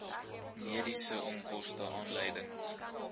mediese onkoste aanleiding